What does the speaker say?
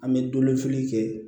An bɛ kɛ